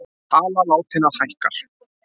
Tala látinna hækkar